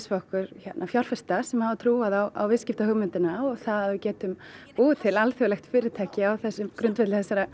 okkur fjárfesta sem að trúa á viðskiptahugmyndina og það að við getum búið til alþjóðlegt fyrirtæki á þessum grundvelli